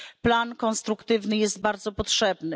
Plan konstruktywny jest bardzo potrzebny.